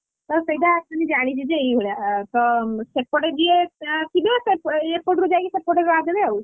ତ ସେଇଟା actually ଜାଣିଛି ଯେ ଏଇ ଭଳିଆ, ତ ସେପଟେ ଯିଏ ଥିବେ ସେ ଏପଟରୁ ଯାଇକି ସେପଟେ ରାହା ଦେବେ ଆଉ,